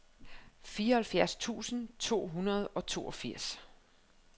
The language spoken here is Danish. fireoghalvfjerds tusind to hundrede og toogfirs